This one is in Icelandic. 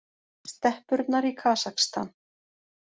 Steppurnar í Kasakstan.